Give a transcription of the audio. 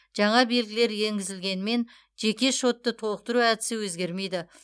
жаңа белгілер енгізілгенімен жеке шотты толықтыру әдісі өзгермейді